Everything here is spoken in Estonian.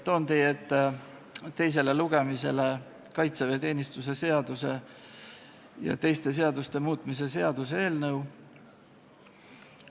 Toon teie ette teisele lugemisele kaitseväeteenistuse seaduse ja teiste seaduste muutmise seaduse eelnõu.